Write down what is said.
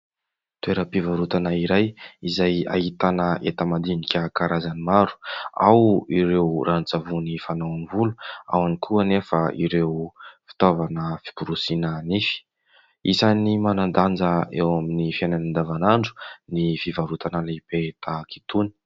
Toeram-pivarotana iray izay ahitana entan-madinika karazany maro ; ao ireo ranon-tsavony fanao amin'ny volo, ao ihany koa anefa ireo fitaovana fiborosiana nify. Manan-danja eo amin'ny fiainana andavanandro ny fivarotana lehibe tahaka itony.